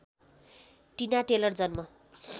टिना टेलर जन्म